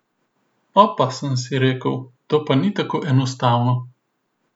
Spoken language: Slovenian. Opa, sem si rekel, to pa ni tako enostavno.